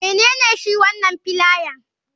Menene shi wanan filalan?